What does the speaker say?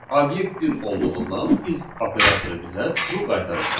Obyekt bir olduğundan is operatoru bizə true qaytaracaq.